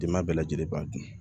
Denba bɛɛ lajɛlen b'a dun